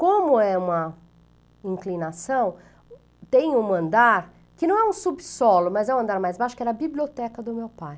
Como é uma inclinação, tem um andar que não é um subsolo, mas é um andar mais baixo, que era a biblioteca do meu pai.